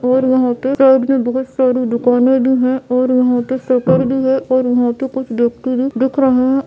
और यहाँं पे साइड में बहुत सारी दुकाने भी है और यहाँं पे शटर भी है और यहाँं पे कुछ व्यक्ति भी दिख रहे है।